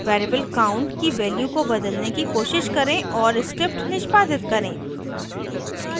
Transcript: variable count की value को बदलने की कोशिश करें और script निष्पादित करें